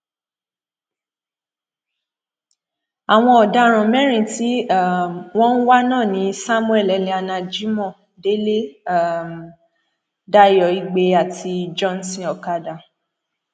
àwọn ọdaràn mẹrin tí um wọn ń wá náà ni samuel eliana jimoh délé um dayo igbe àti johnson okadà